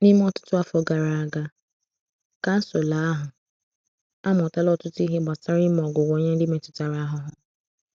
N’ime ọtụtụ afọ gara aga, kansụl ahụ amụtala ọtụtụ ihe gbasara ime ọgwụgwọ nye ndị metụtara ahụhụ.